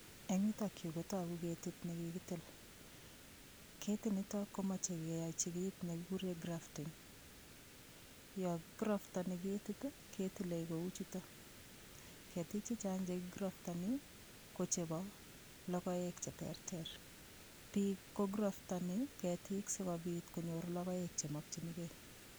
Eng' yutokyu kotoku ketik nekikitil ketinito komochei keyoichi kiit nekikure grafting yo kigraftoni ketit ketilei kou chuto ketik chechang' chekigraftoni ko chebo lokoek cheterter biik ko graftoni ketik sikobit konyor lokoek chemokchinigei